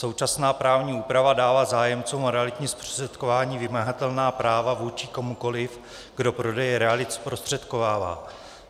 Současná právní úprava dává zájemcům o realitní zprostředkování vymahatelná práva vůči komukoliv, kdo prodeje realit zprostředkovává.